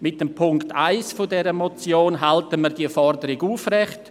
Mit Punkt 1 dieser Motion halten wir diese Forderung aufrecht.